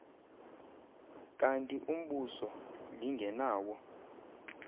kanti umbuso lingenawo